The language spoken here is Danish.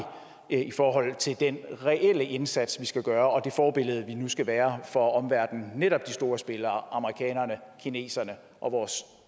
i forhold til den reelle indsats vi skal gøre og forbillede vi nu skal være for omverdenen altså netop de store spillere amerikanerne kineserne og vores